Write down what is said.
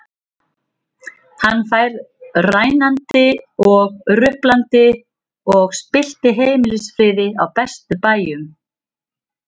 Hann fór rænandi og ruplandi og spillti heimilisfriði á bestu bæjum.